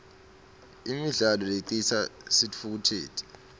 imidlalo lecitsa sitfukutseti